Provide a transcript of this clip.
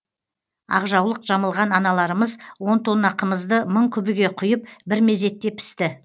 ақ жаулық жамылған аналарымыз он тонна қымызды мың күбіге құйып бір мезетте пісті